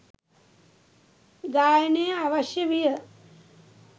ගායනය අවශ්‍ය විය